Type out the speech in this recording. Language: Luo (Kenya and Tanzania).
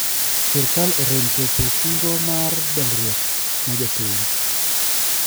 Sirkal orem chopo singo mar dongruok ne jopiny .